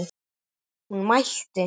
Hún mælti